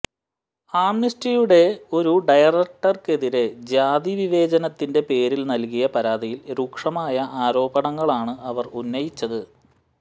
ആംനസ്റ്റിയുടെ ഒരു ഡയറക്ടർക്കെതിരെ ജാതി വിവേചനത്തിന്റെ പേരിൽ നൽകിയ പരാതിയിൽ രൂക്ഷമായ ആരോപണങ്ങളാണ് അവർ ഉന്നയിച്ചത്